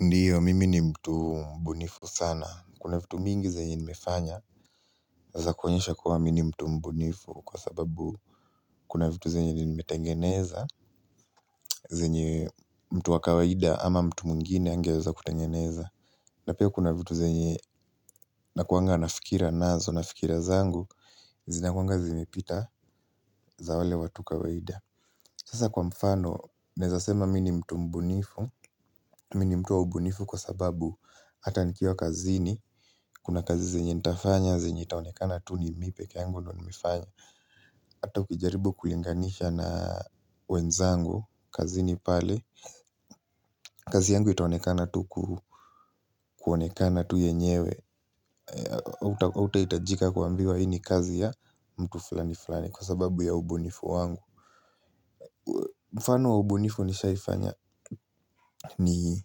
Ndiyo, mimi ni mtu mbunifu sana. Kuna vitu mingi zenye nimefanya za kuonyesha kuwa mimi mtu mbunifu kwa sababu kuna vitu zenye nimetengeneza, zenye mtu wa kawaida ama mtu mwingine hangeweza kutengeneza. Na pia kuna vitu zenye nakuanga na fikira nazo, na fikira zangu, zinakuanga zimepita za wale watu kawaida. Sasa kwa mfano, nawezasema mi ni mtu mbunifu, mi ni mtu wa ubunifu kwa sababu hata nikiwa kazini, kuna kazi zenye nitafanya, zenye itaonekana tu ni mi peke yangu ndio nimefanya. Hata ukijaribu kulinganisha na wenzangu, kazini pale, kazi yangu itaonekana tu kuonekana tu yenyewe. Hautahitajika kuambiwa hii ni kazi ya mtu fulani fulani kwa sababu ya ubunifu wangu. Mfano wa ubunifu nishaifanya ni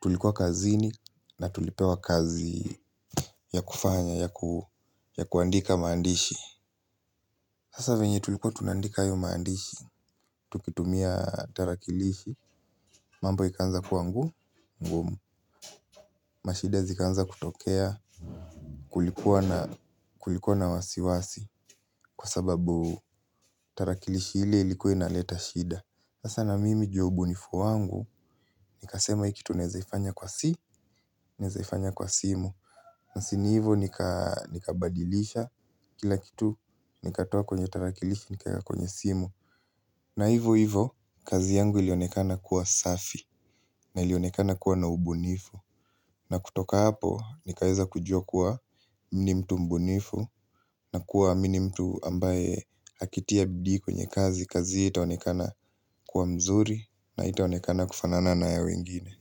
tulikuwa kazini na tulipewa kazi ya kufanya ya kuandika maandishi. Sasa venye tulikuwa tunandika hayo maandishi, tukitumia tarakilishi, mambo ikaanza kuwa ngu, ngumu. Mashida zikaanza kutokea, kulikuwa na wasiwasi kwa sababu tarakilishi hili ilikuwa inaleta shida. Sasa na mimi ju ya ubunifu wangu, nikasema hii kitu nawezaifanya kwa si, nawezaifanya kwa simu. Si ni hivyo nikabadilisha kila kitu, nikatoa kwenye tarakiliki, nikaweka kwenye simu. Na hivo hivo, kazi yangu ilionekana kuwa safi, na ilionekana kuwa na ubunifu. Na kutoka hapo, nikaweza kujua kuwa mi ni mtu mbunifu, na kuwa mi ni mtu ambaye akitia bidii kwenye kazi. Kazi hiyo itaonekana kuwa mzuri na haitaonekana kufanana na ya wengine.